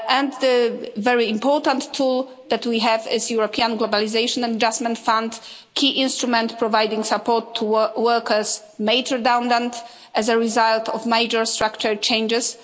The very important tool that we have is the European Globalisation Adjustment Fund a key instrument providing support to workers made redundant as a result of major structural changes.